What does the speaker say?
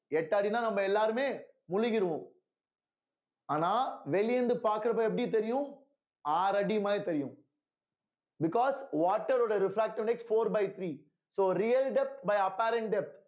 எட்டு அடின்னா நம்ம எல்லாருமே முழுகிருவோம் ஆனா வெளிய இருந்து பாக்குறப்ப எப்படி தெரியும் ஆறடி மாரி தெரியும் because water ரோட refractive index four by three so real depth by apparent depth